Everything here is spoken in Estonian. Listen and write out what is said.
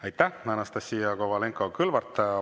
Aitäh, Anastassia Kovalenko‑Kõlvart!